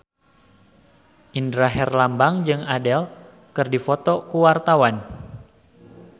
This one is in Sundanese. Indra Herlambang jeung Adele keur dipoto ku wartawan